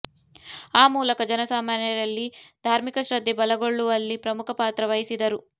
ಆ ಮೂಲಕ ಜನಸಾಮಾನ್ಯರಲ್ಲಿ ಧಾರ್ಮಿಕ ಶ್ರದ್ಧೆ ಬಲಗೊಳ್ಳುವಲ್ಲಿ ಪ್ರಮುಖ ಪಾತ್ರ ವಹಿಸಿದರು